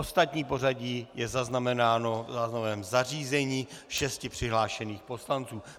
Ostatní pořadí je zaznamenáno v záznamovém zařízení šesti přihlášených poslanců.